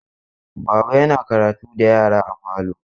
Baba yana karatu da yara a falo.